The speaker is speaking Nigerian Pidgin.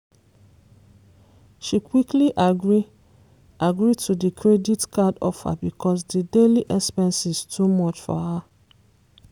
she quickly agree agree to di credit card offer because di daily expenses too much for her